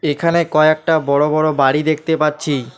এখানে কয়েকটা বড় বড় বাড়ি দেখতে পাচ্ছি।